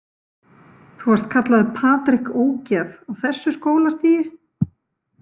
Þú varst kallaður Patrik ógeð á þessu skólastigi?